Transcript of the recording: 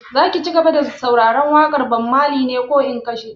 Za ka cigaba da sauraren waƙar Bob Marley ne ko in kashe?